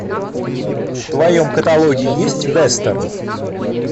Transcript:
в твоем каталоге есть вестерн